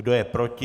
Kdo je proti?